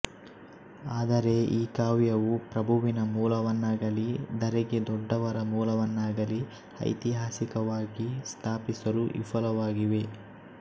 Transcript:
ಆದರೆ ಈ ಕಾವ್ಯವೂ ಪ್ರಭುವಿನ ಮೂಲವನ್ನಾಗಲೀ ಧರೆಗೆ ದೊಡ್ಡವರ ಮೂಲವನ್ನಾಗಲೀ ಐತಿಹಾಸಿಕವಾಗಿ ಸ್ಥಾಪಿಸಲು ವಿಫುಲವಾಗಿವೆ